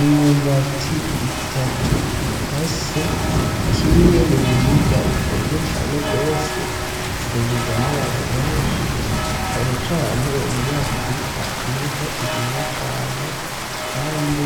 Imyumbati itatu ikase, kimwe mu biribwa bikunzwe cane gose, ifungurwa n'abantu benshi cane cane muri Afrika niho irimwa cane kandi